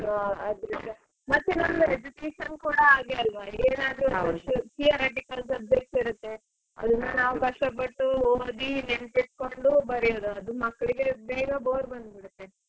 ಹ ಆದ್ರೂಸ ಮತ್ತೆ ನಮ್ಮ education ಕೂಡ ಹಾಗೆ ಅಲ್ವಾ ಏನಾದ್ರೂ theoretical subject ಇರುತ್ತೆ ಅದನ್ನ ನಾವ್ ಕಷ್ಟ ಪಟ್ಟು ಓದಿ ನೆನ್ಪ್ ಇಟ್ಕೊಂಡು ಬರಿಯೋದು ಅದು ಮಕ್ಳಿಗೆ ಬೇಗ bore ಬಂದ್ ಬಿಡುತ್ತೆ.